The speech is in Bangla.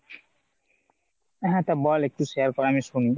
হ্যাঁ তো বল একটু share কর আমি শুনি।